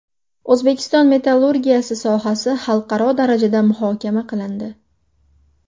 O‘zbekiston metallurgiyasi sohasi xalqaro darajada muhokama qilindi.